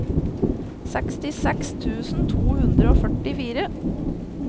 sekstiseks tusen to hundre og førtifire